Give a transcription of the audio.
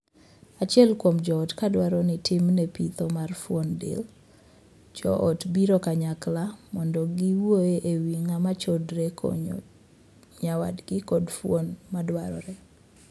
Achiel kuom joot ka dwaro ni timne pitho mar fuon del, joot biro kanyakla mondo giwuoye e wii ng'ama chodore e konyo nyawadgi kod fuon madwarore.